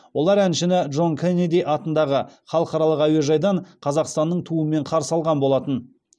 олар әншіні джон кеннеди атындағы халықаралық әуежайдан қазақстанның туымен қарсы алған болатын